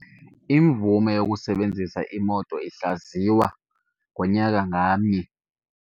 Imvume yokusebenzisa imoto ihlaziywa ngonyaka ngamnye.